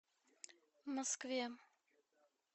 москве